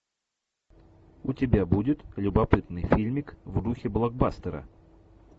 у тебя будет любопытный фильмик в духе блокбастера